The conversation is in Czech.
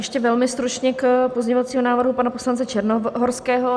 Ještě velmi stručně k pozměňovacímu návrhu pana poslance Černohorského.